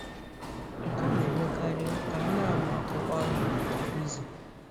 Nke a na-emekarị ka a na-amụ akwụkwọ ahụ kwa izu.